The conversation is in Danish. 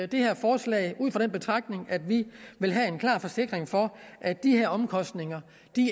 det her forslag ud fra den betragtning at vi vil have en klar forsikring for at de her omkostninger